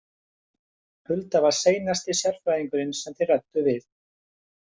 Hulda var seinasti sérfræðingurinn sem þeir ræddu við.